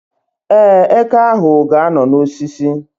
Ee, eke ahụ ga-anọ n' osisi